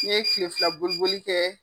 N ye Kile fila boli boli kɛ.